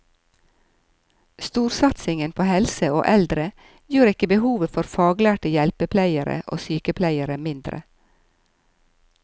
Storsatsingen på helse og eldre gjør ikke behovet for faglærte hjelpepleiere og sykepleiere mindre.